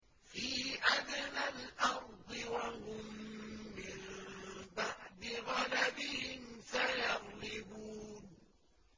فِي أَدْنَى الْأَرْضِ وَهُم مِّن بَعْدِ غَلَبِهِمْ سَيَغْلِبُونَ